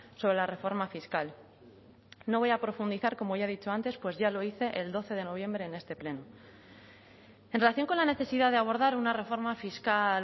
sobre la reforma fiscal no voy a profundizar como ya he dicho antes pues ya lo hice el doce de noviembre en este pleno en relación con la necesidad de abordar una reforma fiscal